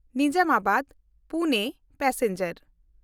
ᱱᱤᱡᱟᱢᱟᱵᱟᱫ–ᱯᱩᱱᱮ passenger